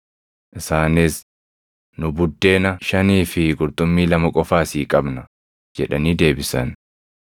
Isaanis, “Nu buddeena shanii fi qurxummii lama qofa asii qabna” jedhanii deebisan.